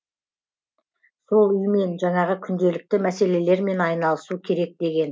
сол үймен жаңағы күнделікті мәселелермен айналысу керек деген